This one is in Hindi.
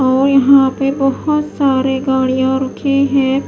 और यहां पे बहुत सारी गाड़ियां रुके हैं।